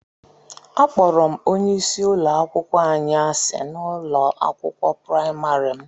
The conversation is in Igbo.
Akpọrọ m onye isi ụlọ akwụkwọ anyị asị na ụlọ akwụkwọ praịmarị m